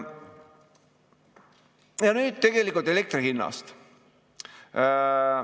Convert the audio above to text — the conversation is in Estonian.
Ja nüüd tegelikult elektri hinnast.